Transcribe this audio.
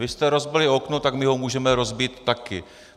Vy jste rozbili okno, tak my ho můžeme rozbít také.